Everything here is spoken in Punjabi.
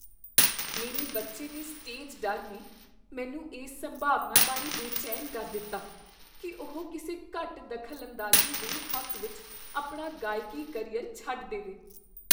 ਮੇਰੇ ਬੱਚੇ ਦੇ ਸਟੇਜ ਡਰ ਨੇ ਮੈਨੂੰ ਇਸ ਸੰਭਾਵਨਾ ਬਾਰੇ ਬੇਚੈਨ ਕਰ ਦਿੱਤਾ ਕੀ ਉਹ ਕਿਸੇ ਘੱਟ ਦਖਲਅੰਦਾਜ਼ੀ ਦੇ ਹੱਕ ਵਿੱਚ ਆਪਣਾ ਗਾਇਕੀ ਕਰੀਅਰ ਛੱਡ ਦੇਵੇ।